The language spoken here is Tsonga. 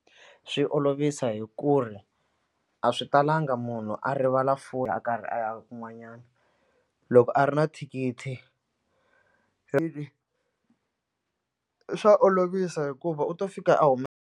Swi olovisa hi ku ri a swi talanga munhu a rivala a karhi a ya kun'wanyana loko a ri na thikithi swa olovisa hikuva u to fika a .